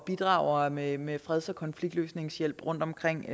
bidrager med med freds og konfliktløsningshjælp rundtomkring